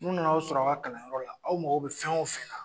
N'u nan'aw sɔrɔ a ka kalanyɔrɔ la , aw mago bɛ fɛn o fɛ la